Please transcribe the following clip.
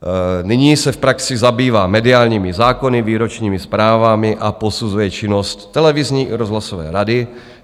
Nyní se v praxi zabývá mediálními zákony, výročními zprávami a posuzuje činnost televizní i rozhlasové rady.